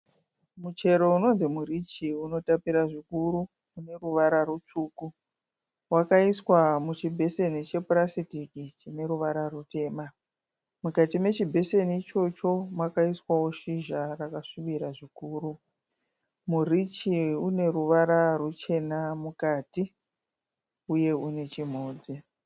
Muchero unonzi murichi unotapira zvikuru une ruvara rutsvuku wakaiswa muchibheseni chepurasitiki chine ruvara rutema mukati mechibheseni ichocho makaiswawo shizha rakasvibira zvikuru murichi une ruvara ruchena mukati uye une chimhodzi.